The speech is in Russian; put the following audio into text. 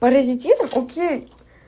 паразитизм окей